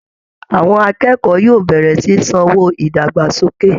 Àwọn akẹ́kọ̀ọ́ yóò bẹ̀rẹ̀ sí ní san owó ìdàgbàsókè